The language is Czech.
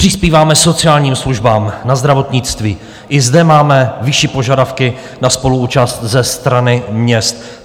Přispíváme sociálním službám na zdravotnictví, i zde máme vyšší požadavky na spoluúčast ze strany měst.